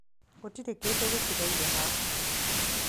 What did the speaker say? gũtiriĩ kĩndu gitigaire haha